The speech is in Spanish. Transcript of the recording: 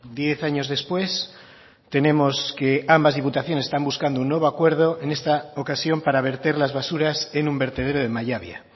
diez años después tenemos que ambas diputaciones están buscando un nuevo acuerdo en esta ocasión para verter las basuras en un vertedero de mallabia